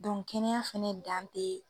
Dɔnku kɛnɛya fɛnɛ dan te